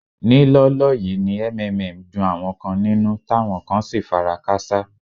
Ní lọ́ọ́lọ́ yìí ni MMM dun àwọn kan nínú táwọn kan sì fara káṣá.